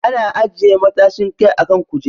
Ana ajiye matashin kai a kan kujeru.